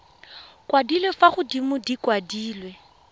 kwadilwe fa godimo di kwadilwe